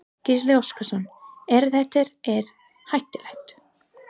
Gísli Óskarsson: Er þetta er hættulegt?